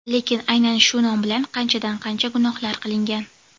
lekin aynan shu nom bilan qanchadan-qancha gunohlar qilingan.